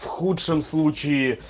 в худшем случае